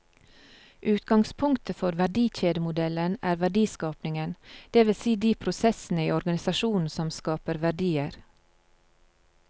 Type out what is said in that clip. Utgangspunktet for verdikjedemodellen er verdiskapingen, det vil si de prosessene i organisasjonen som skaper verdier.